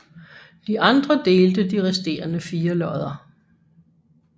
De andre delte de resterende fire lodder